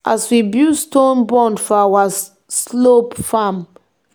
as we build stone bund for our slope farm e help stop water from carry soil run.